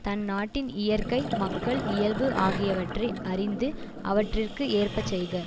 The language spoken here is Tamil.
தன் நாட்டின் இயற்கை மக்கள் இயல்பு ஆகியவற்றை அறிந்து அவற்றிற்கு ஏற்ப செய்க